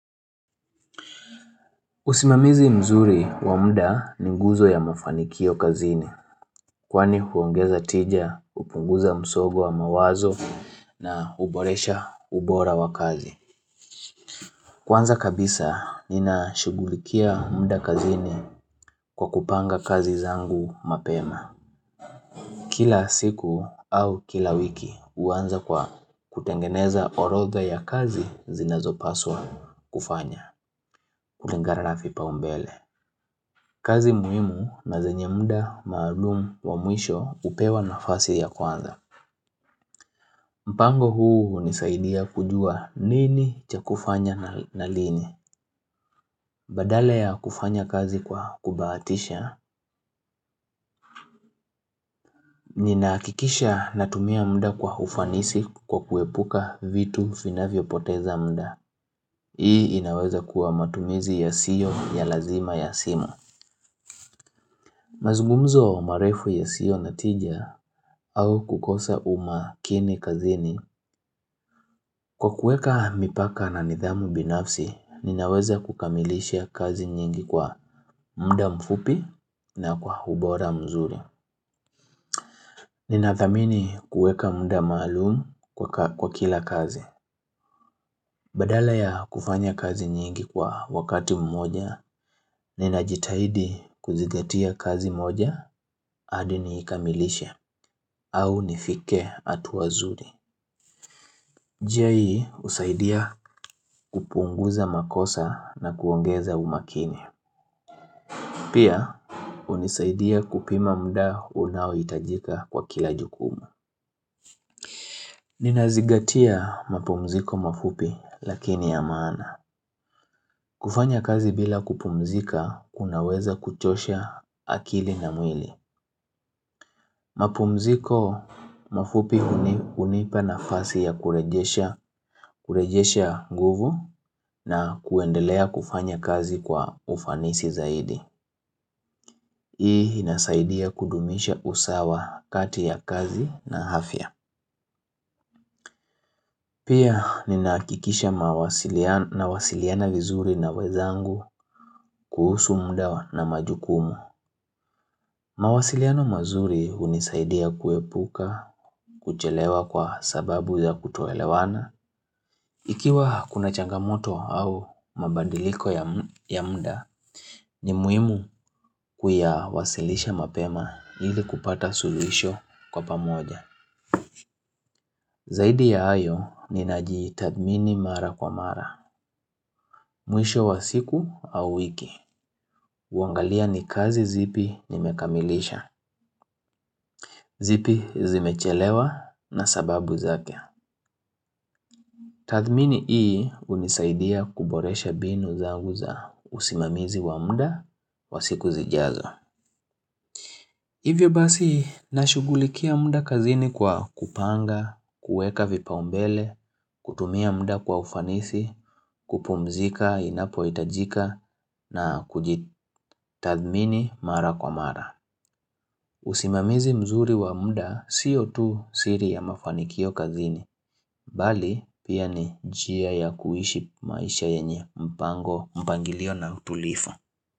Usimamizi mzuri wa muda ni nguzo ya mafanikio kazini Kwani huongeza tija, hupunguza msongo wa mawazo na huboresha ubora wa kazi Kwanza kabisa ninashugulikia muda kazini kwa kupanga kazi zangu mapema Kila siku au kila wiki huanza kwa kutengeneza orodha ya kazi zinazopaswa kufanya kulingana na vipaumbele kazi muhimu na zenye muda maalumu wa mwisho hupewa nafasi ya kwanza. Mpango huu hunisaidia kujua nini cha kufanya na lini. Badala ya kufanya kazi kwa kubahatisha, ninahakikisha natumia muda kwa ufanisi kwa kuepuka vitu vinavyo poteza muda. Hii inaweza kuwa matumizi yasio ya lazima ya simu. Mazungumzo marefu yasiyo na tija au kukosa umakini kazini. Kwa kueka mipaka na nidhamu binafsi, ninaweza kukamilisha kazi nyingi kwa muda mfupi na kwa ubora mzuri. Ninathamini kueka muda maalumu kwa kila kazi. Badala ya kufanya kazi nyingi kwa wakati mmoja, ninajitahidi kuzigatia kazi moja hadi ni ikamilishe. Au nifike hatua nzuri. Jai husaidia kupunguza makosa na kuongeza umakini. Pia hunisaidia kupima muda unaohitajika kwa kila jukumu. Hii inaweza kuwa matumizi yasio ya lazima ya simu. Kufanya kazi bila kupumzika unaweza kuchosha akili na mwili. Mapumziko mafupi hunipa nafasi ya kurejesha nguvu na kuendelea kufanya kazi kwa ufanisi zaidi Hii inasaidia kudumisha usawa kati ya kazi na afya Pia ninahakikisha nawasiliana vizuri na wenzangu kuhusu muda wa na majukumu mawasiliano mazuri hunisaidia kuepuka kuchelewa kwa sababu ya kutoelewana Ikiwa kuna changamoto au mabadiliko ya muda ni muhimu kuyawasilisha mapema ili kupata suluhisho kwa pamoja. Zaidi ya hayo ni najitadhimini mara kwa mara. Mwisho wa siku au wiki. Huangalia ni kazi zipi nimekamilisha. Zipi zimechelewa na sababu zake. Tadhmini hii hunisaidia kuboresha mbinu za usimamizi wa muda wa siku zijazo. Hivyo basi, nashugulikia muda kazini kwa kupanga, kueka vipa umbele, kutumia muda kwa ufanisi, kupumzika, inapo itajika, na kujitathmini mara kwa mara. Usimamizi mzuri wa muda, siyo tu siri ya mafanikio kazini, mbali pia ni njia ya kuishi maisha yenye mpango, mpangilio na utulivu.